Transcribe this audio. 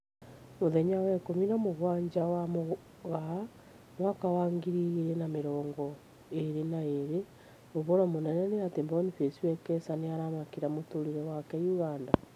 Mũthenya wa ikumi na mũgwanja wa Mũgaa mwaka wa ngiri igĩri na mĩrongo ĩrĩ na ĩrĩ: ũhoro mũnene nĩ atĩ Boniface Wekesa nĩaramakĩra mũtũrĩre wake Uganda